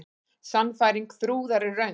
Sannfæring Þrúðar er röng.